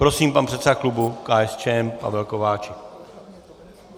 Prosím, pan předseda klubu KSČM Pavel Kováčik.